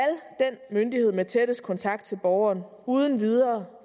den myndighed med tættest kontakt til borgeren uden videre